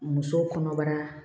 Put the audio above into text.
Musow kɔnɔbara